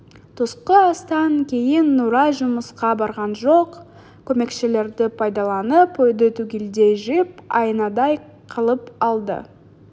түскі астан кейін нұрай жұмысқа барған жоқ көмекшілерді пайдаланып үйді түгелдей жиып айнадай қылып алды